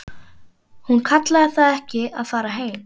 Hún kallaði það ekki að fara heim.